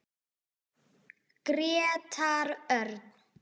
Grétar Örn.